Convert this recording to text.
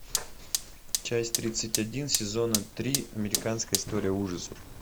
часть тридцать один сезона три американская история ужасов